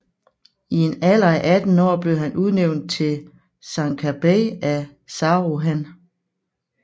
I en alder af 18 år blev han udnævnt til sancakbeyi af Saruhan